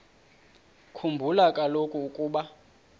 khumbula kaloku ukuba